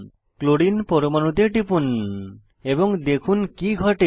chlorine পরমাণুতে টিপুন এবং দেখুন কি ঘটে